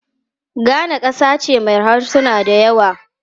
Ghana kasa ce mai harsuna da yawa.